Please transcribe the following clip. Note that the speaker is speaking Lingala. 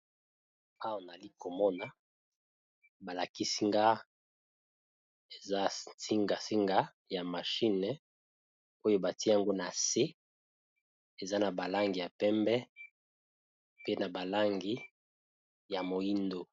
Awa nali komona. balakisinga eza singa singa ya mashine oyo bati yango na se eza na balangi ya pembe pe na balangi ya moyindo.